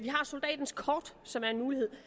har soldatens kort som er en mulighed